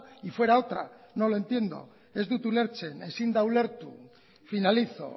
y fuera otra no lo entiendo ez dut ulertzen ezin da ulertu finalizo